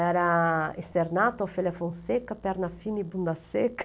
Era esternato, ofelia fonseca, perna fina e bunda seca.